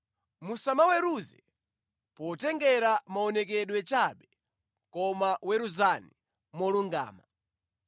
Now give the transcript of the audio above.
Musamaweruze potengera maonekedwe chabe, koma weruzani molungama.”